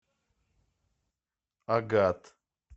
агат